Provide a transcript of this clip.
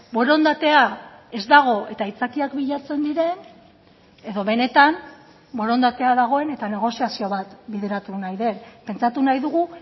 borondatea ez dago eta aitzakiak bilatzen diren edo benetan borondatea dagoen eta negoziazio bat bideratu nahi den pentsatu nahi dugu